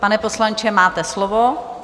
Pane poslanče, máte slovo.